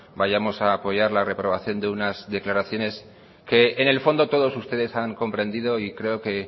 vayamos a apoyar la reprobación de unas declaraciones que en el fondo todos ustedes han comprendido y creo que